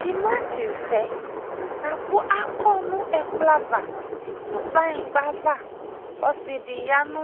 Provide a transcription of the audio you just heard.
Tematevɛ boako akɔ no ɛkplɔ ava no kplanyingba vaƆse de ya no